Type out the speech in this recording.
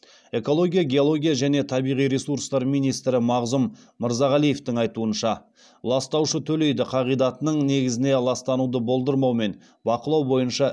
экология геология және табиғи ресурстар министрі мағзұм мырзағалиевтің айтуынша ластаушы төлейді қағидатының негізіне ластануды болдырмау мен бақылау бойынша